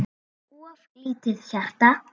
of lítið hjarta